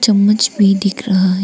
चम्मच भी दिख रहा है।